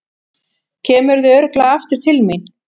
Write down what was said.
Kemurðu örugglega aftur til mín?